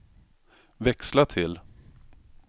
växla till